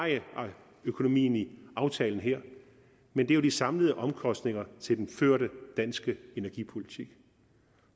økonomien i aftalen her men det er de samlede omkostninger til den førte danske energipolitik